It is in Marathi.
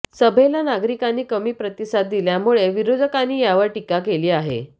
सभेला नागरिकांनी कमी प्रतिसाद दिल्यामुळे विरोधकांनी यावर टीका केली आहे